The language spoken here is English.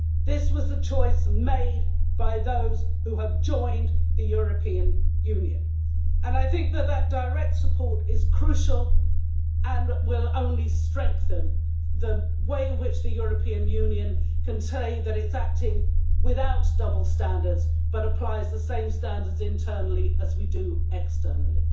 This was the choice made by those who have joined the European Union and I think that that direct support is crucial and will only strengthen the way in which the European Union can say that it is acting without double standards but applies the same standards internally as we do externally.